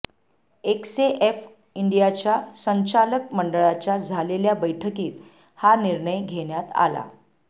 एकसेएफ इंडियाच्या संचालक मंडळाच्या झालेल्या बैठकीत हा निर्णय घेण्यात आला